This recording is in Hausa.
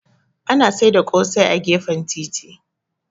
Ana sai ƙosai a gefen titi.